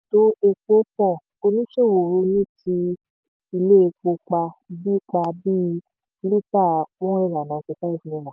oníṣòwò ronú ti ilé epo pa bí pa bí lítà one hundred and ninety five naira